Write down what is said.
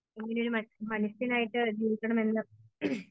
എങ്ങനെ ഒരു മനുഷ്യനായിട്ട് ജീവിക്കണം എന്ന്